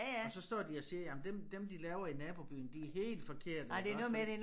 Og står de og siger jamen dem dem de laver i nabobyen de helt forkerte ikke også